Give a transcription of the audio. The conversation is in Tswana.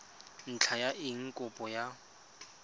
ntlha ya eng kopo ya